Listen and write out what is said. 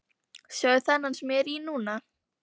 Sjáðu þennan sem ég er í núna?